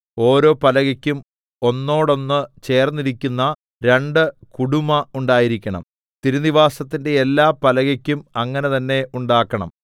ഓരോ പലകയ്ക്കും ഒന്നോടൊന്ന് ചേർന്നിരിക്കുന്ന രണ്ടു കുടുമ ഉണ്ടായിരിക്കണം തിരുനിവാസത്തിന്റെ എല്ലാ പലകയ്ക്കും അങ്ങനെ തന്നെ ഉണ്ടാക്കണം